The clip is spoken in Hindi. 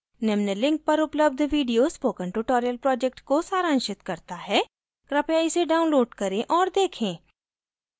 निम्न link पर उपलब्ध video spoken tutorial project को सारांशित करता है कृपया इसे download करें और देखें